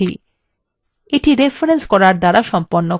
এটি রেফরেন্স করার দ্বারা সম্পন্ন করা হবে